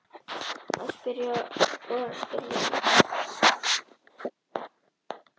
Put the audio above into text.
Að spyrja og endurlifa